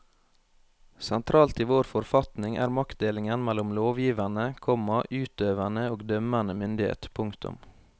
Sentralt i vår forfatning er maktdelingen mellom lovgivende, komma utøvende og dømmende myndighet. punktum